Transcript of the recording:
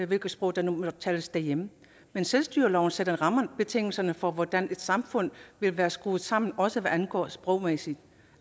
hvilket sprog der nu måtte tales derhjemme men selvstyreloven sætter rammebetingelserne for hvordan et samfund vil være skruet sammen også hvad angår det sprogmæssige og